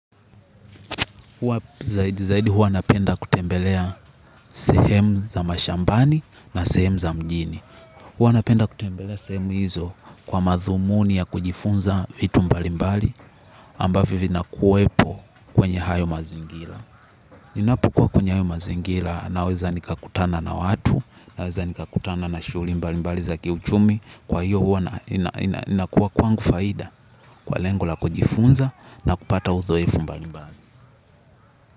Huwa zaidi zaidi huwa napenda kutembelea sehemu za mashambani na sehemu za mjini. Huwa napenda kutembelea sehemu hizo kwa madhumuni ya kujifunza vitu mbalimbali ambavyo vinakuwepo kwenye hayo mazingila. Ninapukua kwenye hayo mazingila naweza nikakutana na watu. Naweza nikakutana na shuuli mbalimbali za kiuchumi. Kwa hiyo huwa inakuwa kwangu faida kwa lengo la kujifunza na kupata uthoefu mbalimbali.